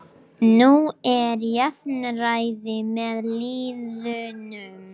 Nú er jafnræði með liðunum